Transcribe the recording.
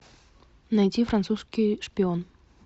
найди французский шпион